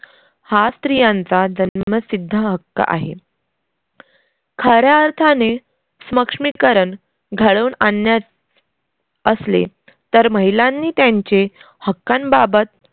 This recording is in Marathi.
हा स्त्रियांचा जन्मसिद्ध हक्क आहे. खऱ्या अर्थाने स्मक्ष्मीकरन घडवून आणण्यात असले तर महिलांनी त्यांचे हक्कांबाबत